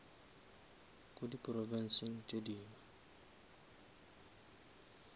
ko di provinsing tše dingwe